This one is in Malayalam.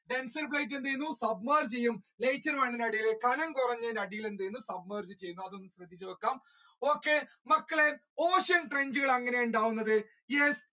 denser plate എന്ത് ചെയ്യും suffer ചെയ്യും okay മക്കളെ അങ്ങനെ ഉണ്ടാവുന്നത് yes